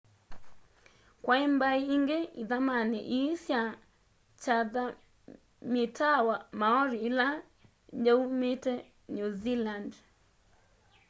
kwai mbai ingi ithamani ii sya chathamyitawa maori ila yaumite new zealand